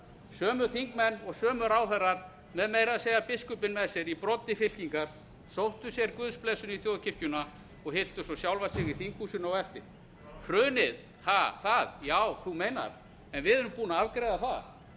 sömu þingmenn og sömu ráðherrar með meira að segja biskupinn með sér í broddi fylkingar sóttu sér guðsblessun í þjóðkirkjuna og hylltu svo sjálfa sig í þinghúsinu á eftir hrunið ha það já þú meinar en við erum búin að afgreiða